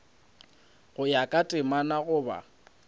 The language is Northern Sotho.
go ya ka temana goba